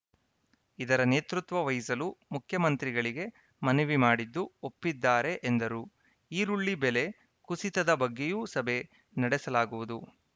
ಇದರ ನೇತೃತ್ವ ವಹಿಸಲು ಮುಖ್ಯಮಂತ್ರಿಗಳಿಗೆ ಮನವಿ ಮಾಡಿದ್ದು ಒಪ್ಪಿದ್ದಾರೆ ಎಂದರು ಈರುಳ್ಳಿ ಬೆಲೆ ಕುಸಿತದ ಬಗ್ಗೆಯೂ ಸಭೆ ನಡೆಸಲಾಗುವುದು